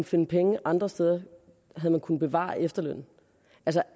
finde penge andre steder kunnet bevare efterlønnen